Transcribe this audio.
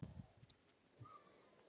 Hann lauk þó aldrei prófi.